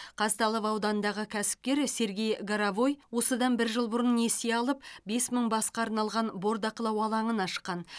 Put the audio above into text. казталов ауданындағы кәсіпкер сергей горовой осыдан бір жыл бұрын несие алып бес мың басқа арналған бордақылау алаңын ашқан